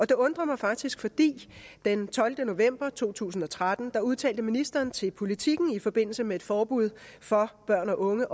det undrer mig faktisk fordi den tolvte november to tusind og tretten udtalte ministeren til politiken i forbindelse med et forbud for børn og unge